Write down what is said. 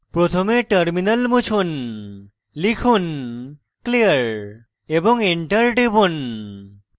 প্রথমে terminal মুছুন লিখুন clear এবং enter টিপুন